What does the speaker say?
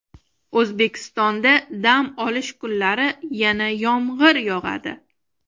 O‘zbekistonda dam olish kunlari yana yomg‘ir yog‘adi.